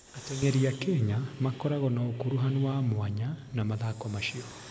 Ateng'eri a Kenya makoragwo na ũkuruhanu wa mwanya na mathako macio.